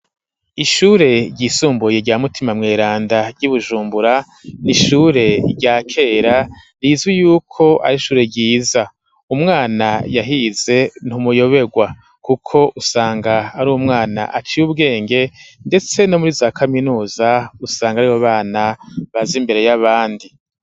Ishure ryisumbuye rya Mutima Mweranda ry'Ibujumbura, n'ishure rya kera rizwi yuko ar'ishure ryiza, umwana yahize ntumuyobegwa kuko usanga ar'umwana aciye ubwenge, ndetse no muri za kaminuza usanga ari bo bana baze imbere y'abandi.